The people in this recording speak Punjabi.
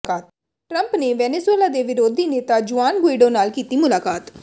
ਟਰੰਪ ਨੇ ਵੈਨਜ਼ੁਏਲਾ ਦੇ ਵਿਰੋਧੀ ਨੇਤਾ ਜੁਆਨ ਗੁਇਡੋ ਨਾਲ ਕੀਤੀ ਮੁਲਾਕਾਤ